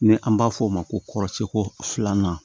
Ni an b'a f'o ma ko kɔrɔcɛ ko filanan